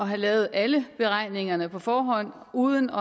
have lavet alle beregningerne på forhånd og uden